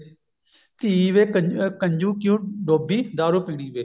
ਧੀ ਵੇ ਕੰ ਕੰਜੂ ਕਿਉਂ ਡੋਬੀ ਦਾਰੂ ਪੀਣੀ ਦੇ